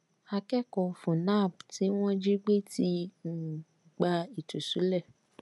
akẹkọọ fúnnáàb tí wọn jí gbé ti um gba ìtúsílẹ